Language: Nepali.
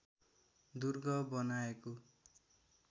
दुर्ग बनाएको